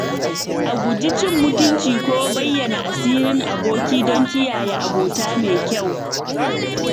A guji cin mutunci ko bayyana sirrin aboki don kiyaye abota mai kyau.